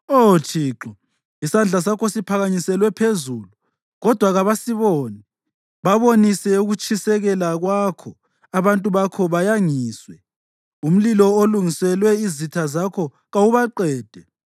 Oh Thixo, isandla sakho siphakanyiselwe phezulu, kodwa kabasiboni. Babonise ukutshisekela kwakho abantu bakho bayangiswe; umlilo olungiselwe izitha zakho kawubaqede.